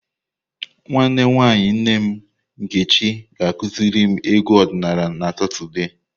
Nwanne nwanyi nne m Nkechi ga-akuziri m egwu odinala na Satọde.